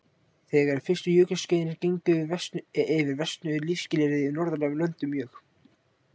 Þegar er fyrstu jökulskeiðin gengu yfir versnuðu lífsskilyrði í norðlægum löndum mjög.